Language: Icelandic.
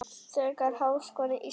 Þegar Háskóli Íslands